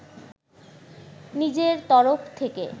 নিজের তরফ থেকে